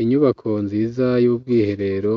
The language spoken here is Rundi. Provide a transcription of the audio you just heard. inyubako nziza y'ubwiherero